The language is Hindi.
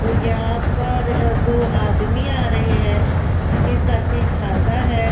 और यहां पर दो आदमी आ रहे हैं उनके सर पे छाता है।